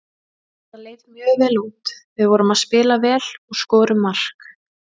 Þetta leit mjög vel út, við vorum að spila vel og skorum mark.